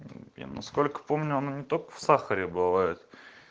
мм я насколько помню оно не только в сахаре бывает